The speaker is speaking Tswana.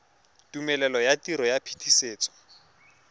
tumelelo ya tiro ya phetisetso